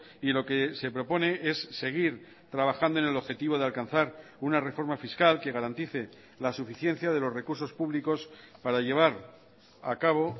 y lo que se propone es seguir trabajando en el objetivo de alcanzar una reforma fiscal que garantice la suficiencia de los recursos públicos para llevar a cabo